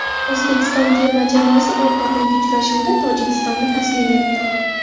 O‘zbekiston terma jamoasi o‘rtoqlik uchrashuvida Tojikistonni taslim etdi.